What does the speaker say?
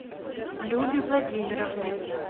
любе владимировне